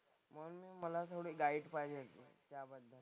म्हणून मग मला थोडी गाईड पाहिजे तुमच्याकडून.